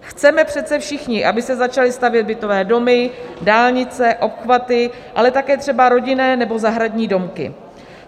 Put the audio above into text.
Chceme přece všichni, aby se začaly stavět bytové domy, dálnice, obchvaty, ale také třeba rodinné nebo zahradní domky.